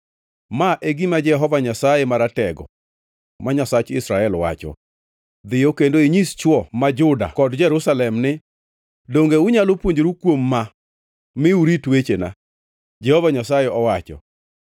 “Ma e gima Jehova Nyasaye Maratego, ma Nyasach Israel, wacho: Dhiyo kendo inyis chwo ma Juda kod jo-Jerusalem ni, ‘Donge unyalo puonjoru kuom ma mi urit wechena?’ Jehova Nyasaye owacho.